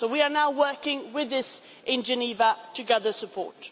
So we are now working on this in Geneva to gather support.